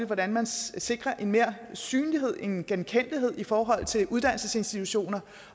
hvordan man sikrer mere synlighed og en genkendelighed i forhold til uddannelsesinstitutioner